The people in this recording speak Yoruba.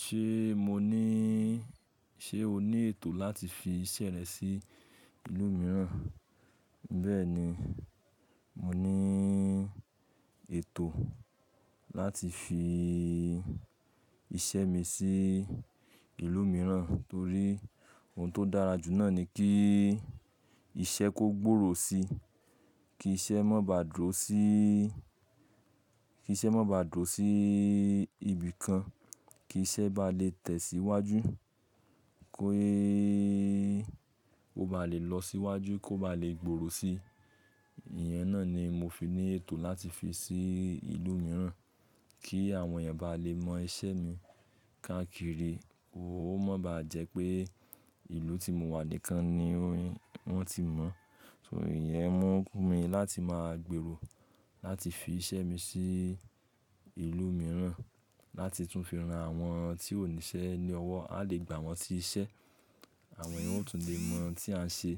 Ṣé mo ní, ṣe o ní ètò láti fi iṣẹ́ rẹ sí ìlú mìíràn? Bẹ́ẹ̀ni, mo ní ètò láti fi iṣẹ́ mi sí ìlú mìíràn torí ohun tó dára jù náà ni kí iṣẹ́ kó gbòrò sí, kí iṣẹ́ má baà dúró sí, kí iṣẹ́ má baà dúró sí ibìkan, kí iṣẹ́ bá lè tẹ̀síwájú, kó bá lè lọ síwájú, kó bá lè gbòrò sí. Ìyẹn náà ni mo fi ní ètò láti fi sí ìlú mìíràn kí àwọn èèyàn bá lè mọ iṣẹ́ mi káàkiri, ó mọ̀ bá jẹ́ pé ìlú tí mo wà nìkan ni wọ́n ti mọ̀. Torí ìyẹn mú mi láti máa gbèrò láti fi iṣẹ́ mi sí ìlú mìíràn láti tún fi ran àwọn tí ò ní iṣẹ́ ní ọwọ́, a lè gbà wọ́n sí iṣẹ́. Àwọn èèyàn ó tún lè mọ tí à ń ṣe,